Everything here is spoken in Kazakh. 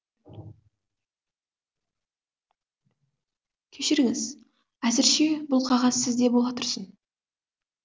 кешіріңіз әзірше бұл қағаз сізде бола тұрсын